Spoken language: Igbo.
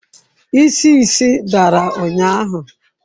Isi isi dara ụnyahụ?